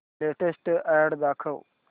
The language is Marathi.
लेटेस्ट अॅड दाखव